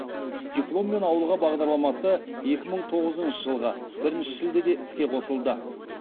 дипломмен ауылға бағдарламасы екі мың тоғызыншы жылғы бірінші шілдеде іске қосылды